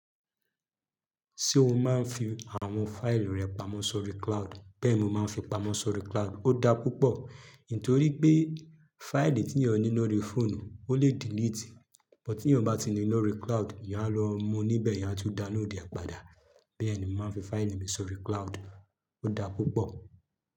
Ti o máa ń fi àwọn fáìlì rẹ pamọ́ sórí cloud? Bẹ́ẹ̀ ni mo máa ń fi pamọ́ sórí cloud. Ó dá púpọ̀, nítorí pé fáìlì tí èèyàn ní lórí fóònù, ó lè delete, ṣùgbọ́n tí èèyàn bá ti ní i lórí cloud, ìyá lọ mú níbẹ̀ yá tó da lóde apàdà. Bẹ́ẹ̀ ni mo máa ń fi fáìlì mi sórí cloud, ó dá púpọ̀.